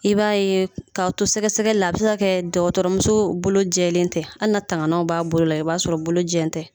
I b'a ye k'a to sɛgɛ sɛgɛli la a bi se ka dɔgɔtɔrɔmuso bolo jɛlen tɛ an na tanganaw b'a bolola i b'a sɔrɔ bolo jɛ n tɛ